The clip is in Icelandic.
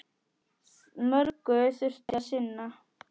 Mörgu þurfti að sinna.